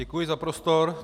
Děkuji za prostor.